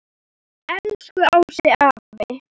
Elsku Ási afi.